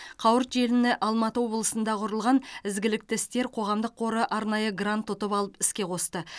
қауырт желіні алматы облысында құрылған ізгілікті істер қоғамдық қоры арнайы грант ұтып алып іске қосты